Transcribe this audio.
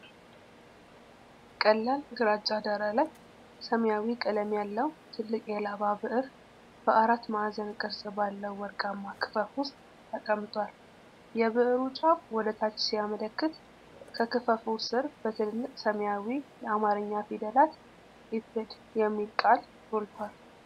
ቀላል ግራጫ ዳራ ላይ፣ ሰማያዊ ቀለም ያለው ትልቅ የላባ ብዕር በአራት ማዕዘን ቅርጽ ባለው ወርቃማ ክፈፍ ውስጥ ተቀምጧል። የብዕሩ ጫፍ ወደ ታች ሲያመለክት፣ ከክፈፉ ስር በትልልቅ ሰማያዊ የአማርኛ ፊደላት "ኢፕድ" የሚል ቃል ጎልቶአል።